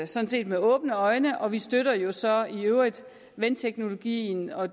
sådan set med åbne øjne og vi støtter jo så i øvrigt vandteknologien og